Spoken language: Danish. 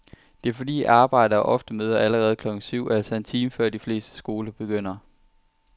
Det er fordi arbejdere ofte møder allerede klokken syv, altså en time før de fleste skoler begynder.